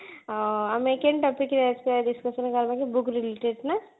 ଆଁ ଆମେ କେଉଁ topic ରେ ଆଜି discussion କରିବା କି book related ନା